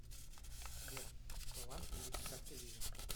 сбер баланс кредитной карты виза